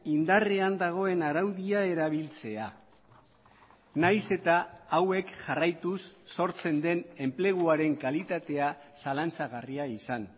indarrean dagoen araudia erabiltzea nahiz eta hauek jarraituz sortzen den enpleguaren kalitatea zalantzagarria izan